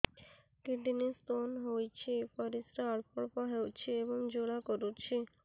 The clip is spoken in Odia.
କିଡ଼ନୀ ସ୍ତୋନ ହୋଇଛି ପରିସ୍ରା ଅଳ୍ପ ଅଳ୍ପ ହେଉଛି ଏବଂ ଜ୍ୱାଳା କରୁଛି